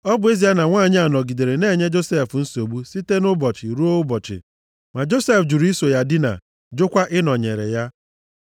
Ọ bụ ezie na nwanyị a nọgidere na-enye Josef nsogbu site nʼụbọchị ruo ụbọchị ma Josef jụrụ iso ya dinaa, jụkwa ịnọnyere ya.